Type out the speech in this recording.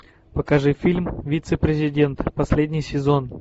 покажи фильм вице президент последний сезон